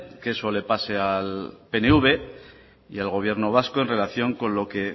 que eso le pase al pnv y al gobierno vasco en relación con lo que